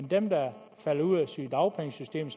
dem der falder ud af sygedagpengesystemet